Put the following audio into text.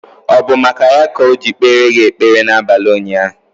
Ọ bụ maka ya ka o ji kpere gị ekpere na abalị ụnyaahụ?